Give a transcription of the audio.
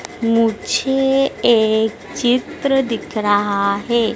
मुझे एक चित्र दिख रहा है।